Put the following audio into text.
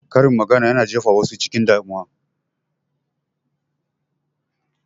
Karin magana yana jefa wasu cikin damuwa